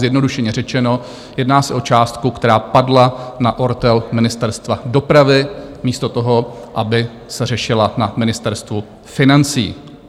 Zjednodušeně řečeno, jedná se o částku, která padla na ortel Ministerstva dopravy místo toho, aby se řešila na Ministerstvu financí.